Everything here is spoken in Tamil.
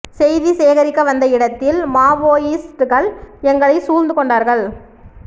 செய்தி சேகரிக்க வந்த இடத்தில் மாவோயிஸ்டுகள் எங்களை சூழ்ந்து கொண்டார்கள்